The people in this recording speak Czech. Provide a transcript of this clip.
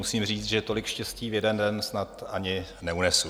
Musím říct, že tolik štěstí v jeden den snad ani neunesu.